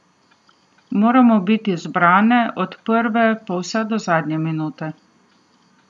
Moramo biti zbrane od prve pa vse do zadnje minute.